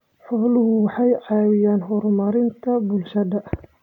Xooluhu waxay ka caawiyaan horumarinta bulshada.